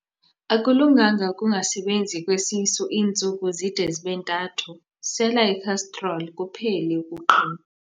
Akulunganga ukungasebenzi kwesisu iintsuku zide zibe ntathu, sela ikhastroli kuphele ukuqhinwa.